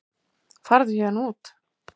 Farðu héðan út.